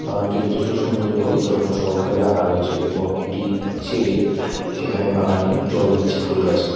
বাগানটি যথেষ্ট সুন্দর করে যত্ন সহকারে রাখা রয়েছে এবং একটি ছেলে সেখানে বাগানে জল দিচ্ছে ফুল গাছে।